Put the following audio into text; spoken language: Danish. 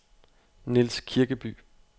Niels Kirkeby